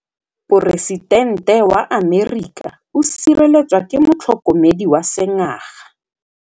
Poresitêntê wa Amerika o sireletswa ke motlhokomedi wa sengaga.